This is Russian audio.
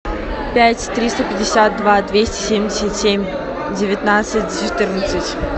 пять триста пятьдесят два двести семьдесят семь девятнадцать четырнадцать